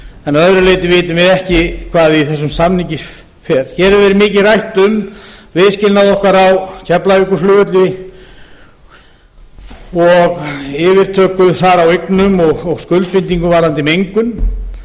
en að öðru leyti vitum við ekki hvað í samningnum felst hér hefur mikið verið rætt um viðskilnaðinn á keflavíkurflugvelli og yfirtöku okkar þar á eignum og skuldbindingar varðandi mengun